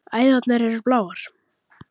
Æðarnar eru bláar.